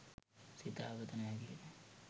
සිතා ගත නොහැකිය.